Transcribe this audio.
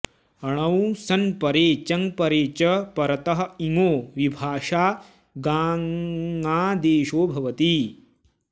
णौ सन्परे चङ्परे च परतः इङो विभाषा गाङादेशो भवति